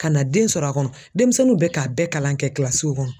Ka na den sɔrɔ a kɔnɔ denmisɛnninw bɛ k'a bɛɛ kalan kɛ kɔnɔ.